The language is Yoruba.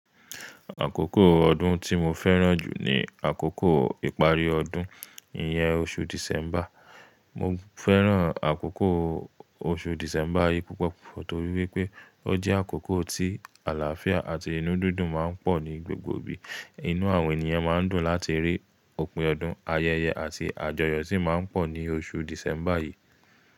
Àkókò ọdún tí mo fẹ́ràn jù ni àkókò ìparí ọdún, iyẹn oṣù December. Mo fẹ́ràn àkókò oṣù December yìí púpọ̀ torí wípé ó jẹ́ àkókò tí àlàáfíà àti inú dídùn ma ń pọ̀ ní gbogbo ibi. Inú àwọn ènìyàn ma ń dùn láti rí òpin ọdún, ayẹyẹ àti àjọyọ̀ sì ma ń pọ̀ ní oṣù December yìí.